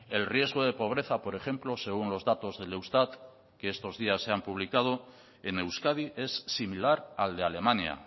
el riesgo de pobreza por ejemplo según los datos del eustat que estos días se han publicado en euskadi es similar al de alemania